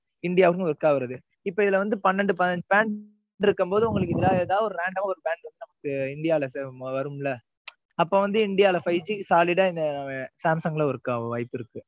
இந்தியாவுக்கும் work ஆகுறது இப்ப இதுல வந்து பன்னெண்டு, பதினஞ்சு brand இருக்கும்போது, உங்களுக்கு இதுல ஏதாவது ஒரு random, ஒரு branch நமக்கு இந்தியால வரும் இல்லை? அப்ப வந்து, இந்தியாவுல solid ஆ இந்த சாம்சங்ல work ஆக வாய்ப்பிருக்கு.